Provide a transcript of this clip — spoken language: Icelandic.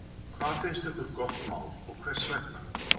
Hvað finnst okkur gott mál, og hvers vegna?